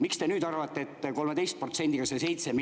Miks te nüüd arvate, et 13%‑ga see 7 miljardit …